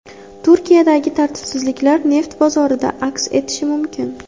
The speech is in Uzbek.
Turkiyadagi tartibsizliklar neft bozorlarida aks etishi mumkin.